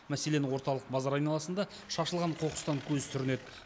мәселен орталық базар айналасында шашылған қоқыстан көз сүрінеді